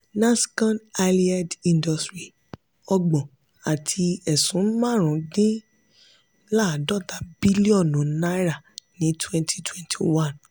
nascon allied industries: ọgbọ̀n àti ẹ̀sún marun din ladota bilionu náírà ní twenty twenty one.